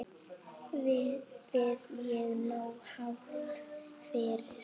Verðið er nógu hátt fyrir.